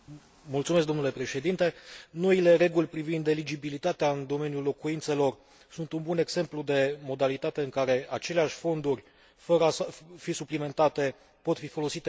Noile reguli privind eligibilitatea în domeniul locuințelor sunt un exemplu de modalitate în care aceleași fonduri, fără a fi suplimentate, pot fi folosite cu un efect mai important.